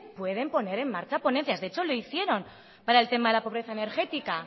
pueden poner en marcha ponencias de hecho lo hicieron para el tema de la pobreza energética